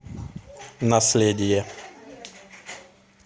наследие